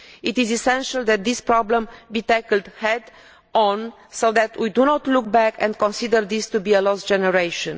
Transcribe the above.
It is essential that this problem be tackled head on so that we do not look back and consider this to be a lost generation.